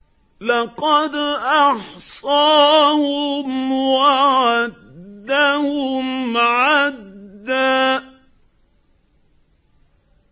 لَّقَدْ أَحْصَاهُمْ وَعَدَّهُمْ عَدًّا